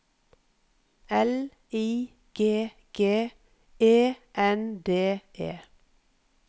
L I G G E N D E